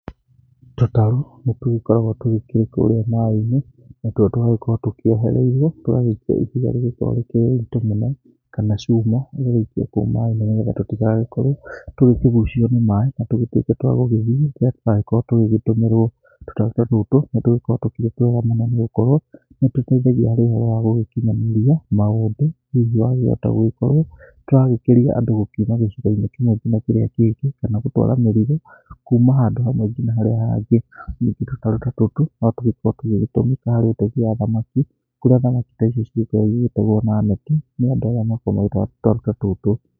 Tũtarũ nĩ tũgĩkoragwo tũgĩkĩrĩ kũrĩa maaĩ-inĩ natuo tũgagĩkorwo tũkĩohereirwo, tũgagĩikio ihiga rĩrĩa rĩkĩrĩ rĩritũ mũno kana cuma ĩgagĩikio kũu maaĩ-inĩ tutigagĩkorwo tũkĩgucio nĩ maaĩ na tũgĩtuĩke twa gũgĩthiĩ. Rĩrĩra tũragĩkorwo tũgĩgĩtũmĩrwo tũtarũ ta tũtũ nĩ tũgĩkoragwo twĩ twega mũno, nĩ gũkorwo nĩ tũteithagia harĩ ũhoro wa gũgĩkinyanĩria maũmbĩ, hihi twakĩhota gũgĩkorwo nĩ tũrakĩria andũ gũgĩkiuma gĩcigo-inĩ kĩmwe nginya kĩrĩa kĩngĩ, kana gũtwara mĩrigo kuma handũ hamwe nginya harĩa hangĩ. Ningĩ tũtarũ ta tũtũ no tũkĩnyitaga itemi hari ũtegi wa thamaki kũrĩa thamaki ta ici inyitagwo na neti nĩ andũ aya makoragwo magĩtwara tũtarũ ta tũtũ.